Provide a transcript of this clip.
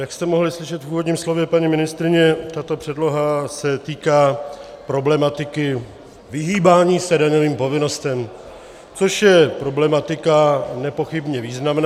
Jak jste mohli slyšet v úvodním slově paní ministryně, tato předloha se týká problematiky vyhýbání se daňovým povinnostem, což je problematika nepochybně významná.